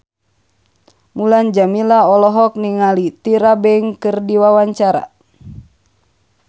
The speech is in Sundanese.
Mulan Jameela olohok ningali Tyra Banks keur diwawancara